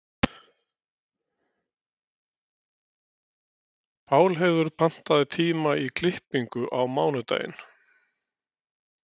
Pálheiður, pantaðu tíma í klippingu á mánudaginn.